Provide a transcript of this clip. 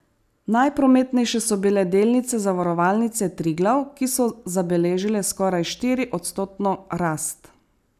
Najprometnejše so bile delnice Zavarovalnice Triglav, ki so zabeležile skoraj štiriodstotno rast.